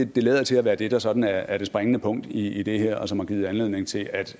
det lader til at være det der sådan er er det springende punkt i det her og som har givet anledning til at